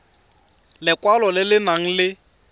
lekwalo le le nang le